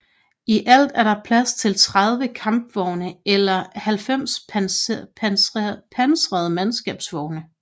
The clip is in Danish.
I alt er der plads til 30 Kampvogne eller 90 pansrede mandskabsvogne